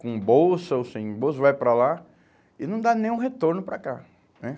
com bolsa ou sem bolsa, vai para lá e não dá nenhum retorno para cá, né?